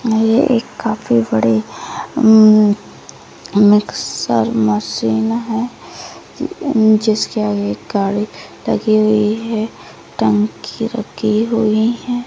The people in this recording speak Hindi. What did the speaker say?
ये एक काफी बड़ी मिक्सर मशीन है जिसके आगे एक गाड़ी लगी हुई है टंकी रखी हुई है।